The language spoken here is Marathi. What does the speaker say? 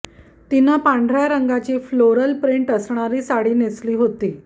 तिनं पांढऱ्या रंगाची फ्लोरल प्रिंट असणारी साडी नेसली होती